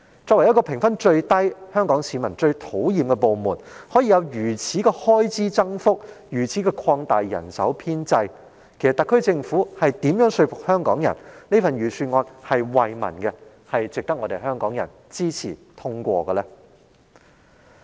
警隊作為評分最低及香港市民最討厭的部門，竟可獲得如此的預算開支增幅，如此擴大其人手編制，試問特區政府如何能說服香港人，這份預算案是惠民的，並值得香港人支持通過？